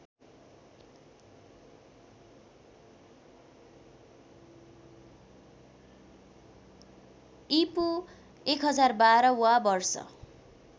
ईपू १०१२ वा वर्ष